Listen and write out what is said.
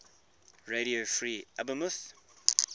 radio free albemuth